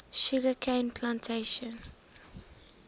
sugar cane plantations